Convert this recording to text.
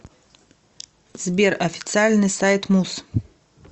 сбер официальный сайт муз